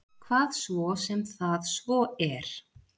Hvað svo sem það svo er.